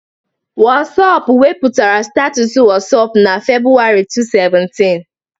Wọsapụ wepụtara Status Wọsapụ na Februwarị 2017